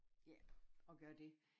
Ja at gøre det